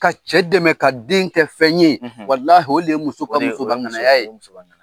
Ka cɛ dɛmɛ ka den kɛ fɛn ye walahi o le ye muso ka musobaŋanaya ye.